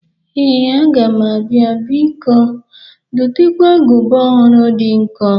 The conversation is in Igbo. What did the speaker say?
Ee, aga m abia. Biko dotekwa agụba ọhụrụ dị nkọ